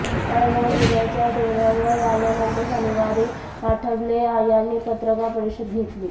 औरंगाबाद जिल्ह्याच्या दौऱ्यावर आल्यानंतर शनिवारी आठवले यांनी पत्रकार परिषद घेतली